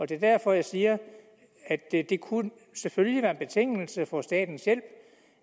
det er derfor jeg siger at det selvfølgelig kunne være en betingelse for statens hjælp